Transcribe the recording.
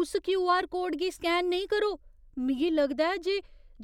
उस क्यू.आर.कोड गी स्कैन नेईं करो। मिगी लगदा ऐ जे